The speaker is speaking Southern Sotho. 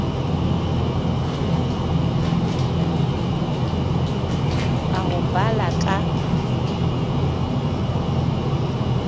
a ho ba la ka